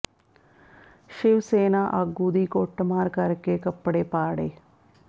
ਸ਼ਿਵ ਸੈਨਾ ਆਗੂ ਦੀ ਕੱੁਟਮਾਰ ਕਰ ਕੇ ਕੱਪੜੇ ਪਾੜੇ